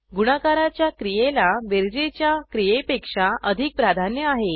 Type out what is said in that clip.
गुणाकाराच्या क्रियेला बेरजेच्या क्रियेपेक्षा अधिक प्राधान्य आहे